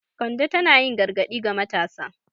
Kande tana yin gargadi ga matasa.